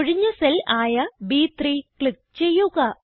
ഒഴിഞ്ഞ സെൽ ആയ ബ്3 ക്ലിക്ക് ചെയ്യുക